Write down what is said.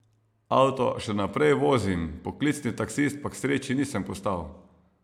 Avto še naprej vozim, poklicni taksist pa k sreči nisem postal.